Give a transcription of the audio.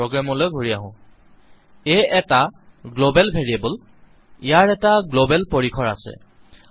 প্ৰোগ্ৰামলৈ ঘুৰি আহো আ এটা গ্লবেল ভেৰিয়েবল ইয়াৰ এটা গ্লবেল পৰিসৰগ্লোবাল স্কোপ